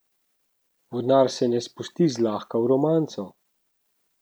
Vodnar se ne spusti zlahka v romanco.